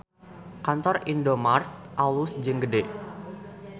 Kantor Indomart alus jeung gede